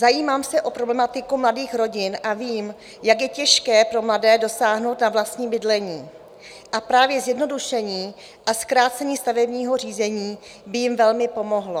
Zajímám se o problematiku mladých rodin a vím, jak je těžké pro mladé dosáhnout na vlastní bydlení, a právě zjednodušení a zkrácení stavebního řízení by jim velmi pomohlo.